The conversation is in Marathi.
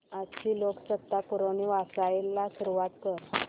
आजची लोकसत्ता पुरवणी वाचायला सुरुवात कर